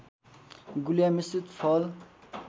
गुलिया मिश्रित फल